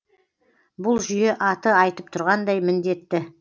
бұл жүйе аты айтып тұрғандай міндетті